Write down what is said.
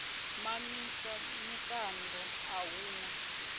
mamisa mikando a hu na